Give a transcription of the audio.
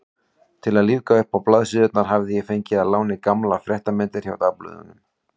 Til að lífga uppá blaðsíðurnar hafði ég fengið að láni gamlar fréttamyndir hjá dagblöðunum.